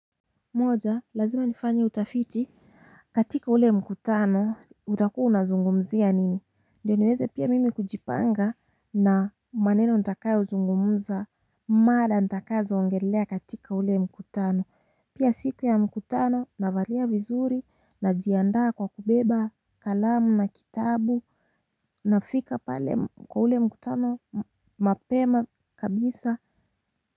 Moja lazima nifanye utafiti katika ule mkutano, utakuwa unazungumzia nini? Ndio niweze pia mimi kujipanga na maneno nitakayozungumza mada nitakazoongelea katika ule mkutano. Pia siku ya mkutano navalia vizuri najiandaa kwa kubeba kalamu na kitabu nafika pale kwa ule mkutano mapema kabisa.